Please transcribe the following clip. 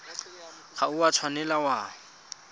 ga o a tshwanela wa